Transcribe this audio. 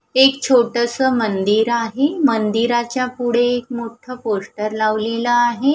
एक छोटसं मंदिर आहे मंदिराच्या पुढे एक मोठं पोस्टर लावलेला आहे.